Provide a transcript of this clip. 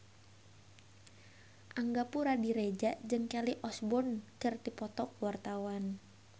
Angga Puradiredja jeung Kelly Osbourne keur dipoto ku wartawan